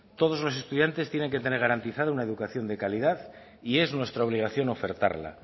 todos los estudiantes tienen que tener garantizados una educación de calidad y es nuestra obligación ofertarla